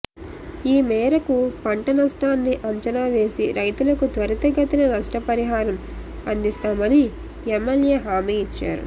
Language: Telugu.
ఈ మేరకు పంట నష్టాన్ని అంచనావేసి రైతులకు త్వరితగతిన నష్టపరిహారం అందిస్తామని ఎమ్మెల్యే హామీ ఇచ్చారు